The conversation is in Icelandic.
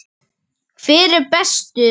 Hver er bestur?